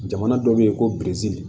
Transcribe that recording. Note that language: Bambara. Jamana dɔ be yen ko piri